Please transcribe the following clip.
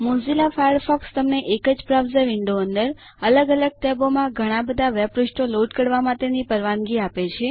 Mozilla Firefox તમને એક જ બ્રાઉઝર વિન્ડો અંદર અલગ અલગ ટેબોમાં ઘણાબધા વેબ પૃષ્ઠો લોડ કરવા માટેની પરવાનગી આપે છે